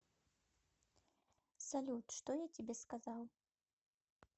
салют что я тебе сказал